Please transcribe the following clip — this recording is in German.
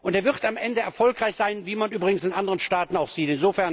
Er wird am Ende erfolgreich sein, wie man übrigens in anderen Staaten auch sieht.